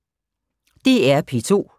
DR P2